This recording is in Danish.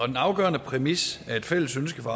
den afgørende præmis er et fælles ønske fra